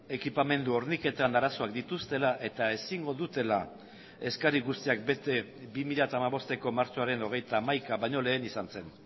ekipamendu horniketan arazoak dituztela eta ezingo dutela eskari guztiak bete bi mila hamabosteko martxoaren hogeita hamaika baino lehen izan zen